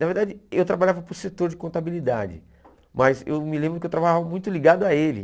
Na verdade, eu trabalhava para o setor de contabilidade, mas eu me lembro que eu trabalhava muito ligado a ele.